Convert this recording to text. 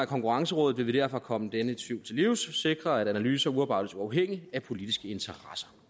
konkurrencerådet vil vi derfor komme denne tvivl til livs og sikre at analyser udarbejdes uafhængigt af politiske interesser